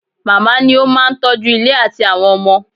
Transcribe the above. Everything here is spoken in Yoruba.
Màmá ni ó máa ń tọ́jú ilé àti àwọn ọmọ.